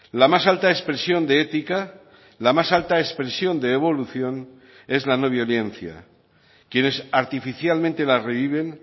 la más alta expresión de ética la más alta expresión de evolución es la no violencia quienes artificialmente la reviven